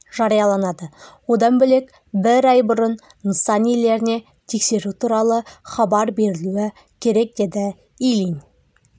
жарияланады одан бөлек бір ай бұрын нысан иелеріне тексеру туралы хабар берілуі керек деді ильин